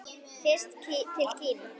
Fyrst til Kína.